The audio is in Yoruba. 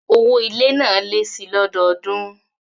Owó ilé náà lé síi lọ́dọọdún